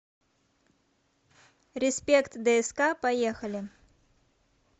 респект дск поехали